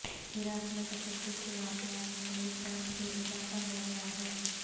عراق میں تشدد کے واقعات میں ایک بار پھر اضافہ ہو گیا ہے